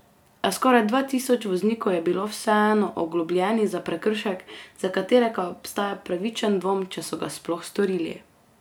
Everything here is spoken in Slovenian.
A skoraj dva tisoč voznikov je bilo vseeno oglobljenih za prekršek, za katerega obstaja upravičen dvom, če so ga sploh storili.